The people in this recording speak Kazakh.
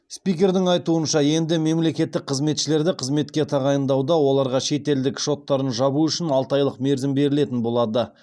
спикердің айтуынша енді мемлекеттік қызметшілерді қызметке тағайындауда оларға шетелдік шоттарын жабу үшін алты айлық мерзім берілетін болады